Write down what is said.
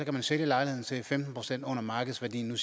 jo sælge lejligheden til femten procent under markedsværdien og